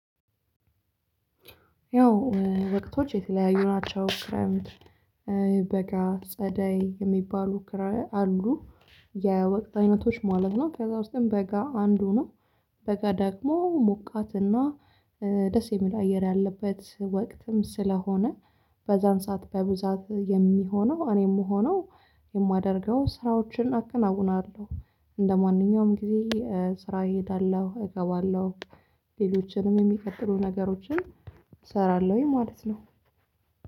ያው ወቅቶች የተለያዩ ናቸው ክረምት በጋ ጸደይ የሚባሉ ክራይ አሉ የወቅት አይነቶች ማለብ ነው። ከዛ ውስጥም በጋ አንዱ ነው። በጋ ደግሞ ሞቃትና ደስ የሚል አየር ያለበት ወቅትም ስለሆነ በዛን ሰዓት በብዛት የሚሆነው እኔም ሆኖ የማደርገው ስራዎችን አከናውለሁ። እንደማንኛውም ጊዜ ስራ እሄዳለሁ እገባለሁ ሌሎችንም የሚፈጠሩ ነገሮችን እሰራለሁኝ ማለት ነው።